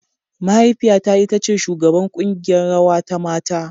Mahaifiyata ita ce shugabar kungiƴar rawa ta mata.